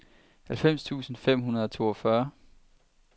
halvfems tusind fem hundrede og toogfyrre